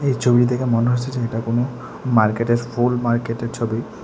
এই ছবি দেখে মনে হচ্ছে যে এটা কোনো মার্কেটের ফুল মার্কেটের ছবি।